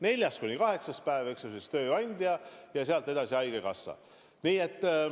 Neljas kuni kaheksas päev – maksab tööandja, ja sealt edasi haigekassa.